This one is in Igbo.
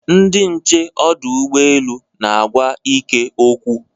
Ndị nche ọdụ ụgbọelu na-agwa Ike okwu.